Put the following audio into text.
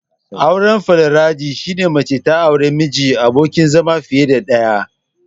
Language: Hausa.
Auren Foliyandari, shine mace ta aure miji/abokin zama fiye da ɗaya.